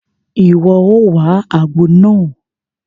Iwọ o wá àgbo náà!